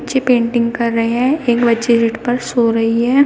Painting कर रहे हैं एक बच्ची पर सो रही है।